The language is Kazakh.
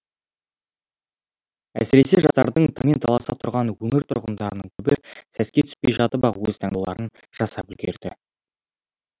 әсіресе жастардың таңмен таласа тұрған өңір тұрғындарының көбі сәске түспей жатып ақ өз таңдауларын жасап үлгерді